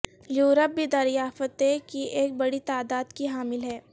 Europe بھی دریافتیں کی ایک بڑی تعداد کی حامل ہے